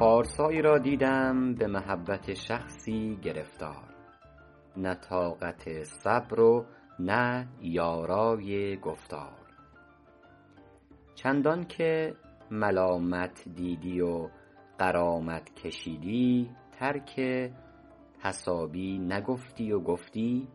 پارسایی را دیدم به محبت شخصی گرفتار نه طاقت صبر و نه یارای گفتار چندان که ملامت دیدی و غرامت کشیدی ترک تصابی نگفتی و گفتی